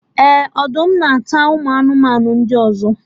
Eh! Ọdụm na-ata ụmụ anụmanụ ndị ọzọ